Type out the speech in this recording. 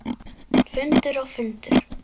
Fundur og fundur.